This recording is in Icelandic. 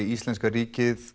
íslenska ríkið